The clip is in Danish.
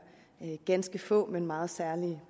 ganske få men meget særlige